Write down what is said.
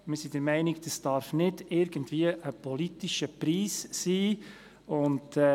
Wir sind der Meinung, es dürfe nicht irgendein politischer Preis sein.